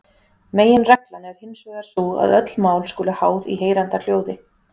Meginreglan er hinsvegar sú að öll mál skulu háð í heyranda hljóði.